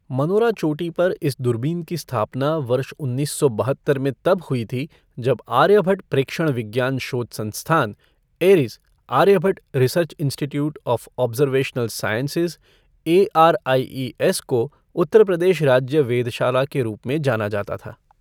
Monera चोटी पर इस दूरबीन की स्थापना वर्ष उन्नीस सौ बहत्तर में तब हुई थी जब आर्यभट्ट प्रेक्षण विज्ञान शोध संस्थान, ARIES Aryabhatta research institute of observational sciences ARIES को उत्तर प्रदेश राज्य वेधशाला के रूप में जाना जाता था।